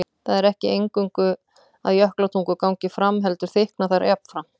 Það er ekki eingöngu að jökultungur gangi fram heldur þykkna þær jafnframt.